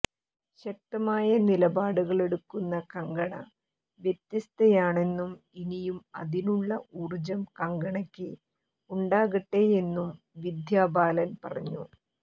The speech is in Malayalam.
ശക്തമായ നിലപാടുകളെടുക്കുന്ന കങ്കണ വ്യത്യസ്തയാണെന്നും ഇനിയും അതിനുള്ള ഊർജം കങ്കണയ്ക്ക് ഉണ്ടാകട്ടെയെന്നും വിദ്യാ ബാലൻ പറഞ്ഞു